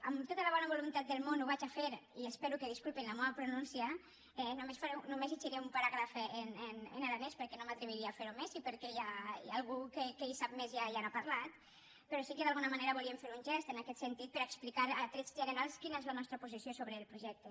amb tota la bona voluntat del món ho vaig a fer i espero que disculpen la meua pronúncia només llegiré un paràgraf en aranès perquè no m’atreviria a fer ho més i perquè hi ha algú que en sap més i ja n’ha parlat però sí que d’alguna manera volíem fer un gest en aquest sentit per a explicar a trets generals quina és la nostra posició sobre el projecte